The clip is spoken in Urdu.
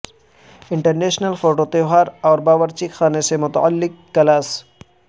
انٹرنیشنل فوڈ تہوار اور باورچی خانے سے متعلق کلاس